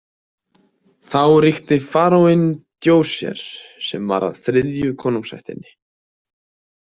Þá ríkti faraóinn Djoser sem var af þriðja konungsættinni.